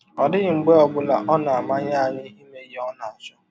Ọ dịghị mgbe ọ bụla ọ na - amanye anyị ime ihe ọ na - achọ.